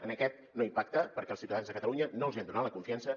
en aquest no impacta perquè els ciutadans de catalunya no els hi han donat la confiança